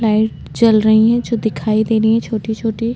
light चल रही है जो दिखाई दे रही है छोटी छोटी --